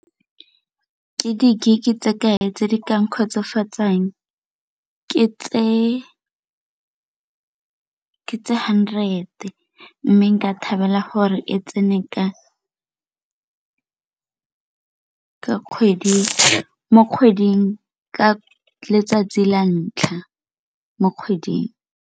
Ke di-gig-e tse ke tse di ka nkgotsofatsang ke tse hundred mme nka thabela gore e tsene ka letsatsi la ntlha mo kgweding.